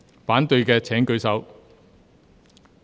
反對的請舉手。